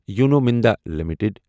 U N O Minda limited